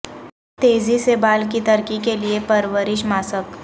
تیزی سے بال کی ترقی کے لئے پرورش ماسک